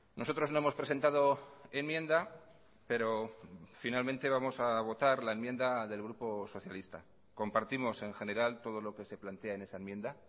nosotros no hemos presentado enmienda pero finalmente vamos a votar la enmienda del grupo socialista compartimos en general todo lo que se plantea en esa enmienda